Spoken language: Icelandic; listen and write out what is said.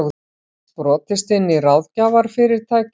Brotist inn í ráðgjafarfyrirtæki